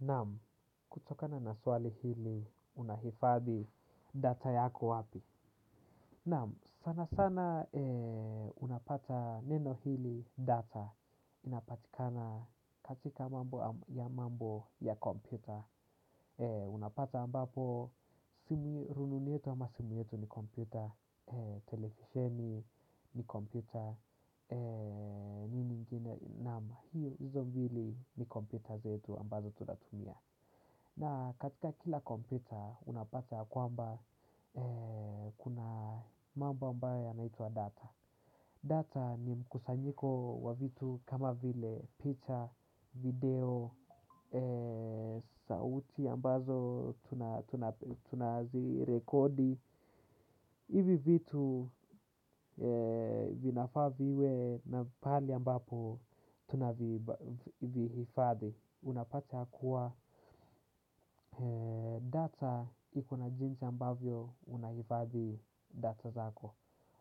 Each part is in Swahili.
Naam, kutokana na swali hili, unahifadhi data yako wapi? Naam, sana sana unapata neno hili data inapatikana katika mambo ya mambo ya kompyuta. Unapata ambapo, simu rununu yetu ama simu yetu ni kompyuta, telefisheni ni kompyuta, nini ingine naam, hiyo hizo mbili ni kompyuta zetu ambazo tunatumia. Na katika kila kompyuta unapata ya kwa mba kuna mambo ambayo ya naitwa data. Data ni mkusanyiko wa vitu kama vile picha, video, sauti ambazo tunazirekodi. Ivi vitu vinafaa viwe na pali ambapo tunavihifadhi. Unapata ya kuwa data ikona jinsi ambavyo unahifadhi data zako.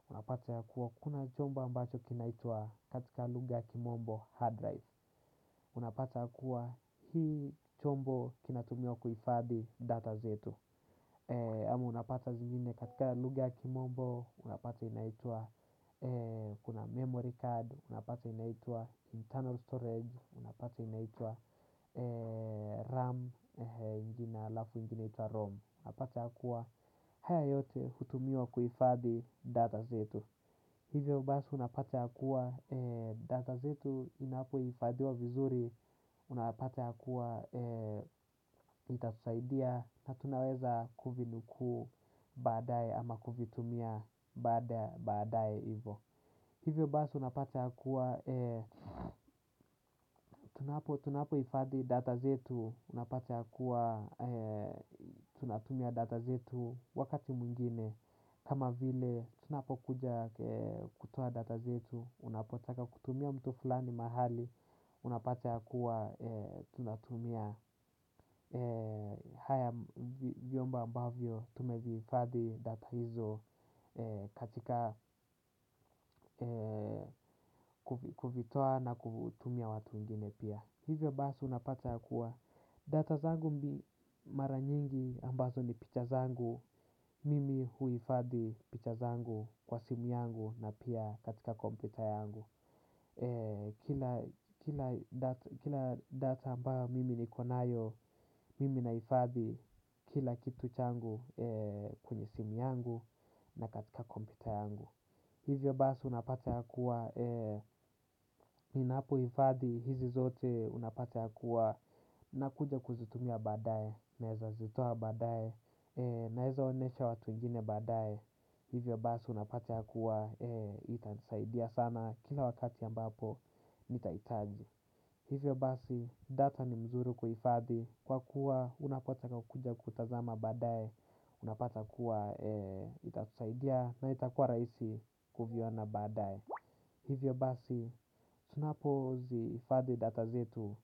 Unapata ya kuwa kuna chombo ambacho kinaitwa katika lugha ya kimombo hard drive. Unapata ya kuwa hii chombo kinatumiwa kuhifadi data zetu. Ama unapata zingine katika lugha ya kimombo unapata inaitwa kuna memory card, unapata inaitwa internal storage. Unapata inaitwa RAM ALafu ingine itwa ROM. Unapata yakuwa haya yote hutumiwa kuifadhi data zetu. Hivyo basi unapata yakuwa data zetu inapoifadhiwa vizuri. Unapata yakuwa itatusaidia. Na tunaweza kuvinuku baadae ama kuvitumia baadae ivo. Hivyo basi unapata ya kuwa tunapo ifadhi data zetu, unapata ya kuwa tunatumia data zetu wakati mwingine. Kama vile tunapo kuja kutoa data zetu, unapotaka kutumia mtu fulani mahali unapata ya kuwa tunatumia haya vyombo ambavyo tumevihifadhi data hizo katika kuvitoa na kutumia watu wengine pia. Hivyo basi unapata ya kuwa data zangu mara nyingi ambazo ni picha zangu. Mimi huifadhi picha zangu kwa simu yangu na pia katika kompyuta yangu. Kila data ambayo mimi nikonayo mimi naifadhi kila kitu changu kwenye simu yangu na katika kompyuta yangu. Hivyo basi unapata yakuwa ninapo ifadhi hizi zote unapata yakuwa nakuja kuzitumia badae na eza zitoa badae. Na eza onesha watu wengine badae. Hivyo basi unapata yakuwa itanisaidia sana. Kila wakati ya ambapo ni taitaji. Hivyo basi data ni mzuri kuhifadi. Kwa kuwa unapota kuja kutazama badae. Unapata kuwa itatusaidia na itakua raisi kuviona badae. Hivyo basi tunapo zihifadhi data zetu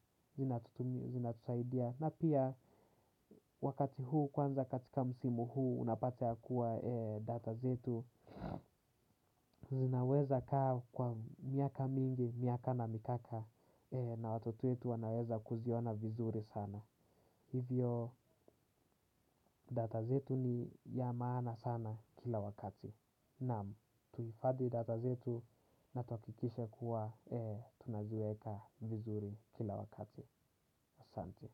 zinatusaidia na pia wakati huu kwanza katika msimu huu. Unapata ya kuwa data zetu zinaweza kaa kwa miaka mingi, miaka na mikaka. Na watoto wetu wanaweza kuziona vizuri sana. Hivyo data zetu ni ya maana sana kila wakati. Namu, tuifadhi data zetu na tuakikishe kuwa tunaziweka vizuri kila wakati. Sante.